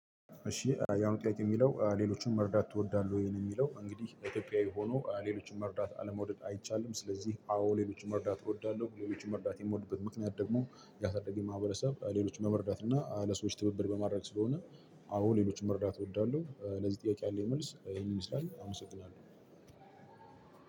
እሺ የአሁኑ ጥያቄ ሚለው ሌሎችን መርዳት ትወዳለህ ወይ ነው? ሚለው አንግዲህ ኢትዮጵያዊ ሆኖ ለሎችን አለመውደድ አይቻልም ስለዚህ አዎ ሌሎችን መርዳት እወዳለሁ። ሌሎችን መርዳት የምወድበት ምክንያት ደግሞ ያሳደገኝ መሀበረሰብ ሌሎችን በመርዳት እና ለሰዎች ትብብር በማድረግ ስለሆነ። አዎ ሌሎችን መረዳት እወዳለሁ። ለዚህ ጥያቄ ያለኝ መልስ ይህን ይመስላል አመሰግናለሁ።